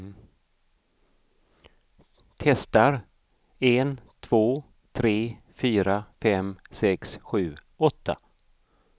Testar en två tre fyra fem sex sju åtta.